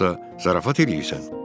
Yoxsa zarafat eləyirsən?